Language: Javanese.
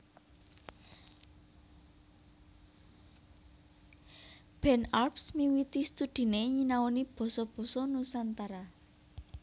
Ben Arps miwiti studhiné nyinaoni basa basa Nusantara